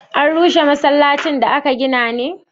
an rushe masallacin da aka gina ne?